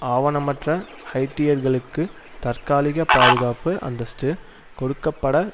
ஆவணமற்ற ஹைய்ட்டியர்களுக்கு தற்காலிக பாதுகாப்பு அந்தஸ்து கொடுக்க பட